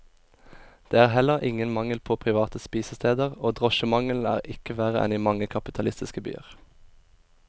Det er heller ingen mangel på private spisesteder, og drosjemangelen er ikke verre enn i mange kapitalistiske byer.